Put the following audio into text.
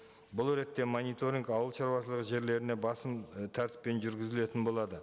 бұл ретте мониторинг ауылшаруашылығы жерлеріне басым і тәртіппен жүргізілетін болады